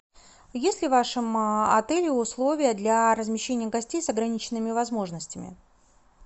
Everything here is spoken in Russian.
есть ли в вашем отеле условия для размещения гостей с ограниченными возможностями